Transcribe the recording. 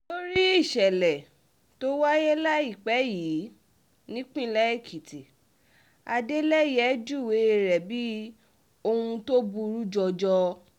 lórí ìṣẹ̀lẹ̀ tó wáyé láìpẹ́ yìí nípìnlẹ̀ èkìtì adeleye júwe rẹ̀ bíi ohun tó burú jọjọ